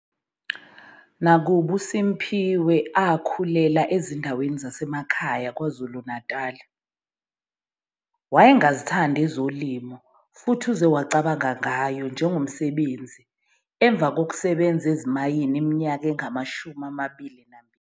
Nakuba uSimphiwe akhulela ezindaweni ezisemakhaya KwaZulu-Natal, wayengazithandi ezolimo futhi uze wacabanga ngayo njengomsebenzi emva kokusebenza ezimayini iminyaka engama-22.